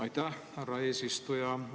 Aitäh, härra eesistuja!